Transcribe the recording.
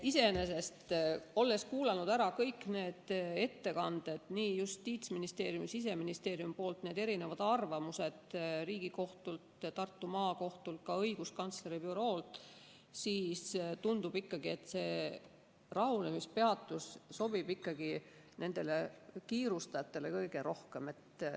Iseenesest, olles kuulanud ära kõik ettekanded nii Justiitsministeeriumilt kui ka Siseministeeriumilt, arvamused Riigikohtult, Tartu Maakohtult, ka õiguskantsleri büroolt, tundub ikkagi, et see rahunemispeatus sobib kiirustajatele kõige rohkem.